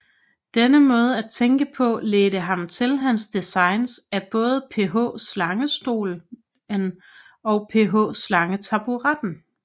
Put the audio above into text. Denne måde at tænke på ledte ham til hans designs af både PH Slangestolen and PH Slangetaburetten